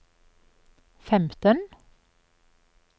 femten